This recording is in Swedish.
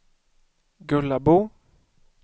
Gullabo